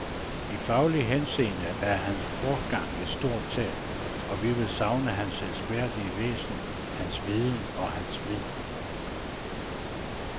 I faglig henseende er hans bortgang et stort tab, og vi vil savne hans elskværdige væsen, hans viden og hans vid.